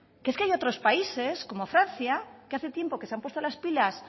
que es que hay otros países como francia que hace tiempo que se han puesto las pilas